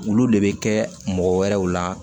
Olu de bɛ kɛ mɔgɔ wɛrɛw la